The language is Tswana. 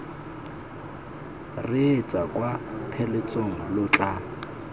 reetsa kwa pheletsong lo tla